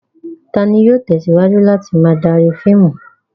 Ta ni yóò tẹ̀síwájú láti máa darí fíìmù?